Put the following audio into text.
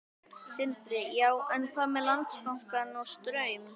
Sindri: Já, en hvað með Landsbankann og Straum?